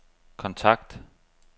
kontakt